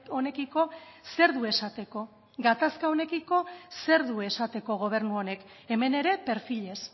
honekiko zer du esateko gatazka honekiko zer du esateko gobernu honek hemen ere perfilez